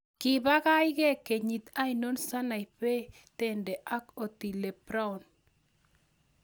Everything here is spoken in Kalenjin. Gyii pagai gee kenyit ainon Sanaipei Tande ak Otile Brown